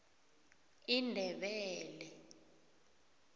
indebele